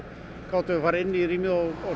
gátum við farið inn í rýmið og